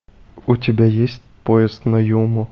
у тебя есть поезд на юму